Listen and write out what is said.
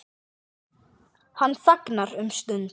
Hann þagnar um stund.